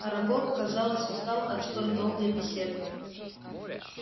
арагог казалось устал от столь долгой беседы